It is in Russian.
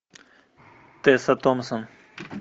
тесса томпсон